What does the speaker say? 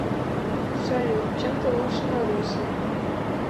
салют чем ты лучше маруси